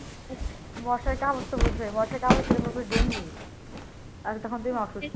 মশার কামড় তো বুঝো মশার কামড় দিলে তো ডেঙ্গু আর তখন তুমি অসুস্থ